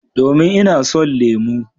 Domin ina son lemu.